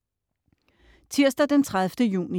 Tirsdag den 30. juni